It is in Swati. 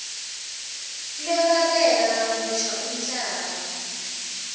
lwekwabela kabusha umhlaba